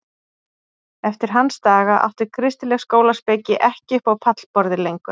Eftir hans daga átti kristileg skólaspeki ekki upp á pallborðið lengur.